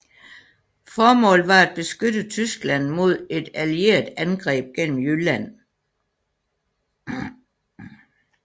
Formålet var at beskytte Tyskland mod et allieret angreb gennem Jylland